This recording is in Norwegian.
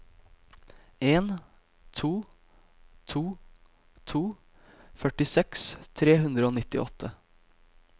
en to to to førtiseks tre hundre og nittiåtte